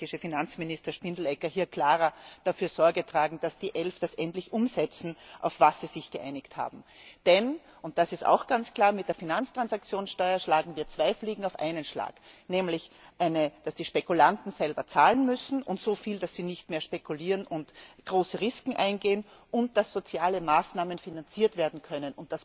Auch der österreichische Finanzminister Spindelegger muss hier klarer dafür Sorge tragen, dass die Elf das, worauf sie sich geeinigt haben, endlich umsetzen. Denn und das ist auch ganz klar mit der Finanztransaktionssteuer schlagen wir zwei Fliegen mit einer Klappe. Nämlich, dass die Spekulanten selber zahlen müssen, und zwar so viel, dass sie nicht mehr spekulieren und große Risiken eingehen, und dass soziale Maßnahmen finanziert werden können.